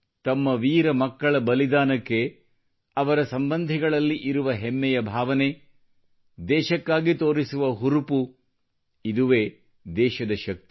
ತಮ್ಮ ವೀರ ಮಕ್ಕಳ ಬಲಿದಾನಕ್ಕೆ ಅವರ ಸಂಬಂಧಿಗಳಲ್ಲಿ ಇರುವ ಹೆಮ್ಮೆಯ ಭಾವನೆ ದೇಶಕ್ಕಾಗಿ ತೋರಿಸುವ ಹುರುಪು ಇದುವೇ ದೇಶದ ಶಕ್ತಿ